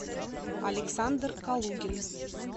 александр калугин